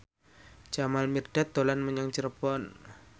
Jamal Mirdad dolan menyang Cirebon